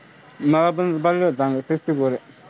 मला पण चांगले पडले होते sixty four